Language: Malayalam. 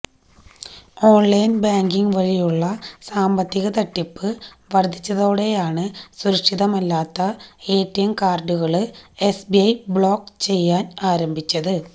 ഓണ്ലൈന് ബാങ്കിംഗ് വഴിയുള്ള സാമ്പത്തിക തട്ടിപ്പ് വര്ധിച്ചതോടെയാണ് സുരക്ഷിതമല്ലാത്ത എടിഎം കാര്ഡുകള് എസ്ബിഐ ബ്ലോക്ക് ചെയ്യാന് ആരംഭിച്ചത്